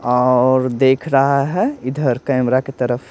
और देख रहा है इधर कैमरा की तरफ--